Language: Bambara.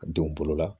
Denw bolo la